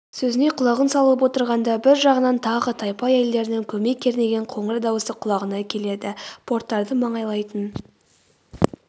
сөзіне құлағын салып отырғанда бір жағынан тағы тайпа әйелдерінің көмей кернеген қоңыр дауысы құлағына келеді порттарды маңайлайтын